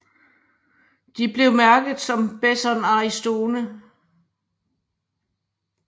De blev mærket som Besson Aristone